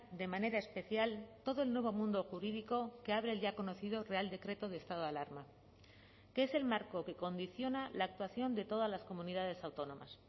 de manera especial todo el nuevo mundo jurídico que abre el ya conocido real decreto de estado de alarma que es el marco que condiciona la actuación de todas las comunidades autónomas